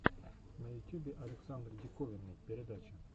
на ютюбе александр диковинный передача